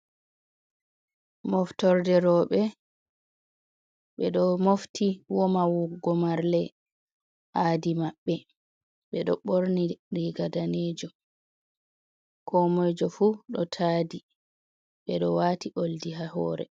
Moftorde rooɓe. Ɓe ɗo mofti woma wuggo marle aadi maɓɓe, ɓe ɗo ɓorni riga daneejum, ko moijo fu ɗo taadi, ɓe ɗo waati oldi haa hoore.